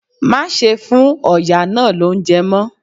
Má ṣe fún ọ̀yà náà lóúnjẹ mọ́!